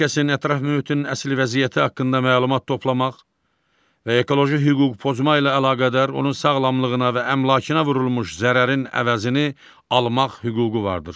Hər kəsin ətraf mühitin əsl vəziyyəti haqqında məlumat toplamaq və ekoloji hüquq pozma ilə əlaqədar onun sağlamlığına və əmlakına vurulmuş zərərin əvəzini almaq hüququ vardır.